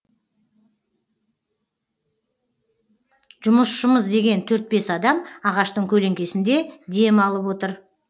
жұмысшымыз деген төрт бес адам ағаштың көлеңкесінде дем алып отыр